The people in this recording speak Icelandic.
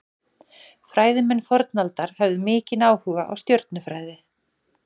Fræðimenn fornaldar höfðu mikinn áhuga á stjörnufræði.